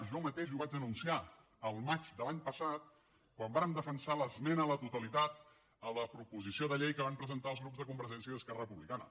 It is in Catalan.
jo mateix ho vaig anunciar al maig de l’any passat quan vàrem defensar l’esmena a la totalitat a la proposició de llei que van presentar els grups de convergència i esquerra republicana